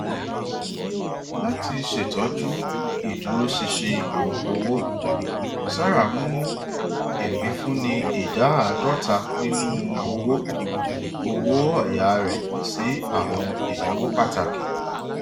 lati ṣetọju iduroṣinṣin owo sarah mú ipinfunni ìdà ààdọta nínú owó owó ọyà rẹ sí àwọn ìnáwó pàtàkì